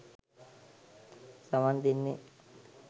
සවන් දෙන්නේ